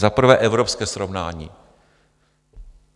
Za prvé evropské srovnání.